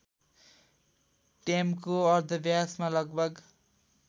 ट्याम्को अर्धव्यासमा लगभग